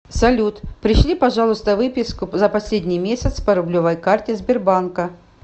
салют пришли пожалуйста выписку за последний месяц по рублевой карте сбербанка